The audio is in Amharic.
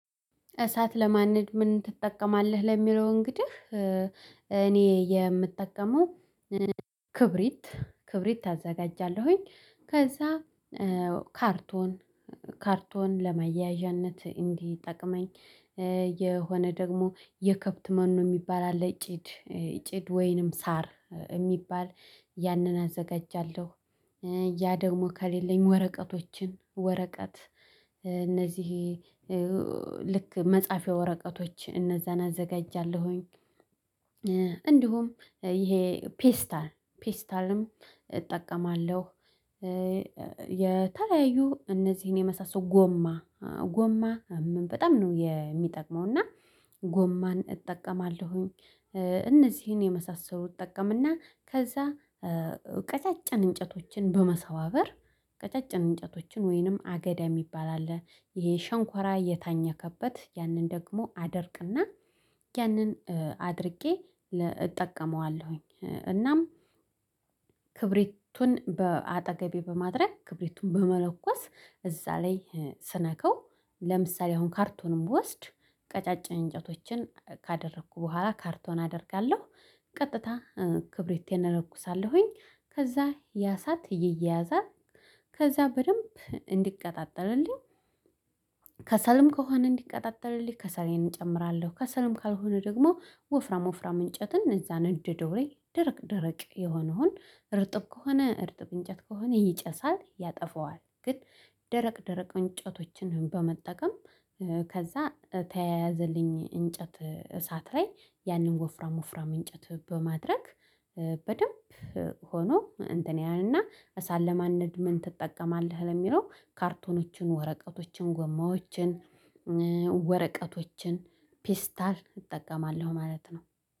እሳት ለማንደድ ምን ትጠቀማለህ ለሚለው እንግዲህ እኔ የምጠቀመው ክብሪት ክብሪት አዘጋጃለሁኝ ከዛ ካርቶን ካርቶን ለመያያዣነት እንዲጠቅመኝ የሆነ ደግሞ የከብት መኖ የሚባል አለ ጭድ ጭድ ወይንም ሳር የሚባል ያንን አዘጋጃለሁ ያ ደግሞ ከሌለኝ ወረቀቶችን ወረቀት እነዚህ ልክ መጻፍያ ወረቀቶች እነዛን አዘጋጃለሁኝ እንዲሁም ይሄ ፔስታል ፔስታልም እጠቀማለሁ። የተለያዩ እነዚህን የመሳሰሉ ጎማ ጎማ በጣም ነው የሚጠቅመው እና ጎማን እጠቀማለሁኝ። እነዚህን የመሳሰሉ እጠቀምና ከዛ ቀጫጭን እንጨቶችን በመሰባበር ቀጫጭን እንጨቶችን ወይንም አገዳ የሚባል አለ ይሄ ሸንኮራ እየታኘከበት ያንን ደግሞ አደርቅና ያንን አድርጌ እጠቀመዋለሁኝ። እናም ክብሪቱን በአጠገቤ በማድረግ ክብሪቱን በመለኮስ እዛ ላይ ስነካው ለምሳሌ አሁን ካርቶንን ብወስድ ቀጫጭን እንጨቶችን ካደረኩ በኋላ ካርቶን አደርጋለሁ ቀጥታ ክብሪቴን እለኩሳለሁኝ ከዛ ያሳት እይይየዛል ከዛ በደንብ እንዲቀጣጠልልኝ። ከሰልም ከሆነ እንዲቀጣጠልልኝ ከሰሌን እጨምራለሁ ከሰልም ካልሆነ ደግሞ ወፍራም ወፍራም እንጨትን እዛ ነድድው ላይ ደረቅ ደረቅ የሆነውን እርጥብ ከሆነ እርጥብ እንጨት ከሆነ ይጨሳል ያጠፋዋል ግን ደረቅ ደረቅ እንጨቶችን በመጠቀም። ከዛ ተያያዘልኝ እንጨት እሳት ላይ ያንን ወፍራም ወፍራም እንጨት በማድረግ። በደንብ ሆኖ እንትን ያህልና እሳት ለማንደድ ምን ትጠቀማለህ ለሚለው ካርቶኖችን ወረቀቶችን ጎማዎችን ወረቀቶችን ፔስታል እጠቀማለሁ ማለት ነው።